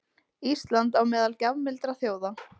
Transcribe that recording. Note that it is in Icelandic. Ísland á meðal gjafmildra þjóða